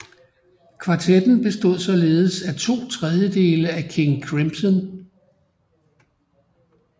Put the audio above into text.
Kvartetten bestod således af to trediedele af King Crimson